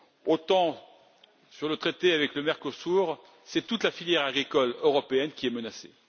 autant avec cet accord avec le Mercosur, c'est toute la filière agricole européenne qui est menacée.